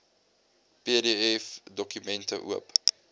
pdf dokumente oop